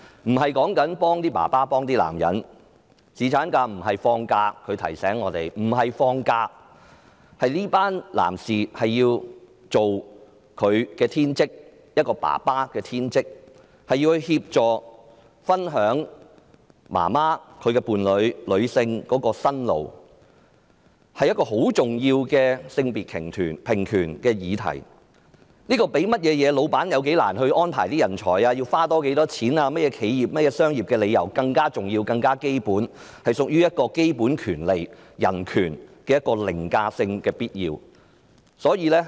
她提醒我們，侍產假不僅是放幾天假而已，而是讓這群男士盡他們作為父親的天職，協助和分擔媽媽、女性、伴侶的辛勞，所以這是一項很重要的性別平權的議題。這較僱主難以安排人手、多花多少錢、其他的企業和商業理由更重要、更基本，是屬於具凌駕性基本權利、必要的人權。